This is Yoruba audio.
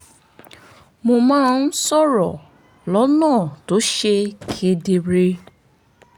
mo máa ń sọ̀rọ̀ lọ́nà tó ṣe kedere